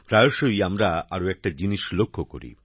প্রায়শই আমরা আরো একটা জিনিস লক্ষ্য করি